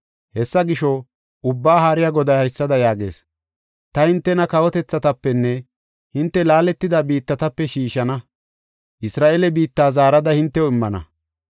Hessa gisho, Ubbaa Haariya Goday haysada yaagees: “Ta hintena kawotethatapenne hinte laaletida biittatape shiishana; Isra7eele biitta zaarada hintew immana.